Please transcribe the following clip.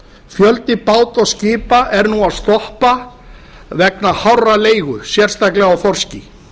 fjöldi báta og skipa er nú að stoppa vegna hárrar leigu sérstaklega á þorski